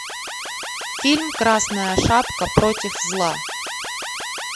фильм красная шапка против зла